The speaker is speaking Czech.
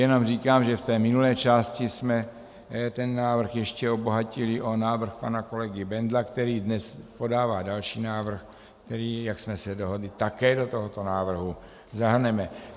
Jenom říkám, že v té minulé části jsme ten návrh ještě obohatili o návrh pana kolegy Bendla, který dnes podává další návrh, který, jak jsme se dohodli, také do tohoto návrhu zahrneme.